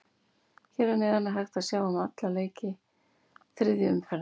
Hér að neðan er hægt að sjá alla leiki þriðju umferðar.